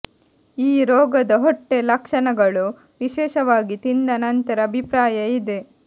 ಈ ರೋಗದ ಹೊಟ್ಟೆ ಲಕ್ಷಣಗಳು ವಿಶೇಷವಾಗಿ ತಿಂದ ನಂತರ ಅಭಿಪ್ರಾಯ ಇದೆ